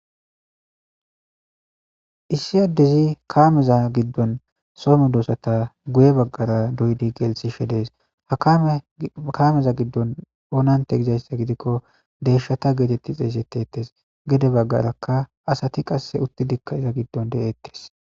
Issi yaddezi kaameza giddon somu doosata guye baggara duydi gelsishedees hakaameza giddon oonante gizayssa gidikko deeshata geetetti xeesetettes gede baggarakka asati qasse uttidikka iza giddon deetes.